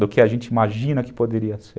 do que a gente imagina que poderia ser.